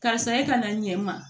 Karisa e ka na ɲɛ ma